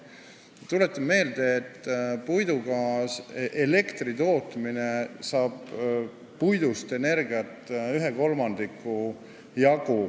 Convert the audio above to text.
Tuletame meelde, et puiduga elektri tootmisel saab puidust energiat 1/3 jagu.